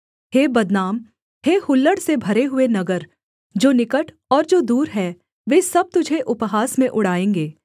हे बदनाम हे हुल्लड़ से भरे हुए नगर जो निकट और जो दूर है वे सब तुझे उपहास में उड़ाएँगे